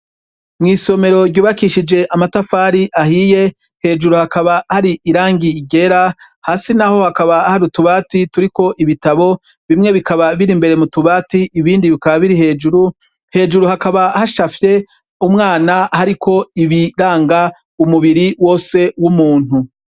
Mw'isomero ry'ubakishijwe amatafari ahiye hejuru kabaha har'iragi ryera, hasi naho kabaha hari utubati turiko ibitabo bimwe bikaba bir'imbere mutubati ibindi bikaba biri hejuru, hejuru kabaha hacafye umwana hariko ibiraga umubiri wose w'umuntu.